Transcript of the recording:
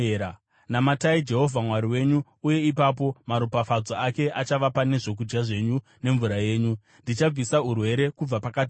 Namatai Jehovha Mwari wenyu, uye ipapo maropafadzo ake achava pane zvokudya zvenyu nemvura yenyu. Ndichabvisa urwere kubva pakati penyu,